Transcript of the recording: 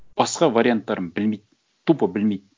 басқа варианттарын білмейді тупо білмейді